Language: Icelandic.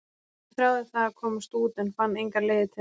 Kannski þráði það að komast út en fann engar leiðir til þess?